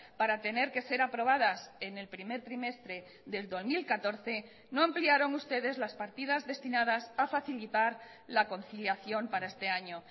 para tener que ser aprobadas en el primer trimestre del dos mil catorce no ampliaron ustedes las partidas destinadas a facilitar la conciliación para este año